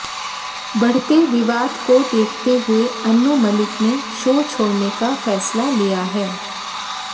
बढ़ते विवाद को देखते हुए अनु मलिक ने शो छोड़ने का फैसला लिया है